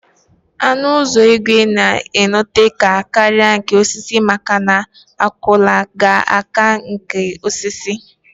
Ọnụ ụzọ ígwè na anọte aka karịa nke osisi maka na akwụala ga ata nke osisi